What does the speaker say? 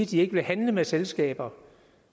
de ikke vil handle med selskaber